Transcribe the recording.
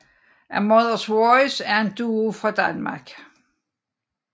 A Mothers Voice er en duo fra Danmark